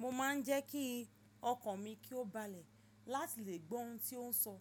Mo ma n je ki okan mi ki o balẹ lati le gbọ ohun ti o n sọ